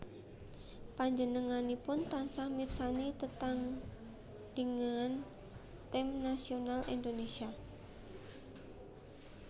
Panjenenganipun tansah mirsani tetandhingan tim nasional Indonésia